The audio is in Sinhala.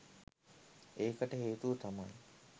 ඒකට හේතුව තමයි